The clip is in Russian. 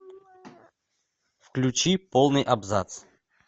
включи полный абзац